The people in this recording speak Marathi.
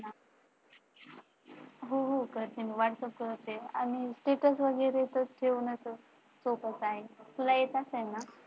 हो हो करते करते, Status वगैरे च तर ठेवणं तर सोपच हाय. तुला येत असेल ना.